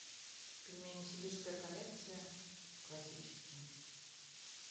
пельмени сибирская коллекция классические